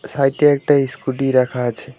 সাইটে একটা ইসকুটী রাখা আছে।